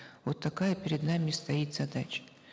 вот такая перед нами стоит задача